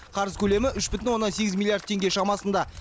қарыз көлемі үш бүтін оннан сегіз миллиард теңге шамасында